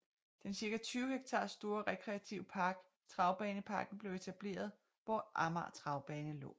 Den cirka 20 hektar store rekreative park Travbaneparken blev etableret hvor Amager Travbane lå